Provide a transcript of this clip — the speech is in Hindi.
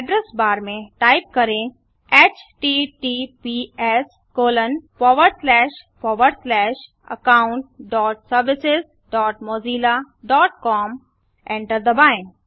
एड्रैस बार में टाइप करें httpsaccountservicesmozillacom एंटर दबाएँ